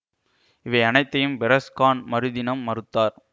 இவை அனைத்தையும் பெரஸ் கான் மறுதினம் மறுத்தார்